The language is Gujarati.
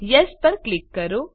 યેસ પર ક્લિક કરો